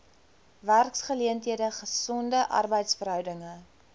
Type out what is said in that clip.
werksgeleenthede gesonde arbeidsverhoudinge